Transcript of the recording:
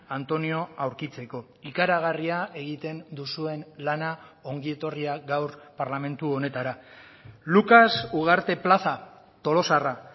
antonio aurkitzeko ikaragarria egiten duzuen lana ongietorriak gaur parlamentu honetara lucas ugarte plaza tolosarra